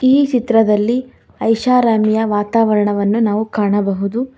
ಈ ಚಿತ್ರದಲ್ಲಿ ಐಷಾರಾಮಿಯ ವಾತಾವರಣವನ್ನು ನಾವು ಕಾಣಬಹುದು.